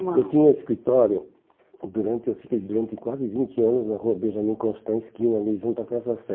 uma... Eu tinha escritório durante quase vinte anos na rua Benjamin Constant, esquina ali junto à Praça Sé.